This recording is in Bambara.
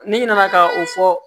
N'i nana ka o fɔ